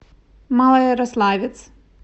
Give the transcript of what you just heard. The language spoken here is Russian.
малоярославец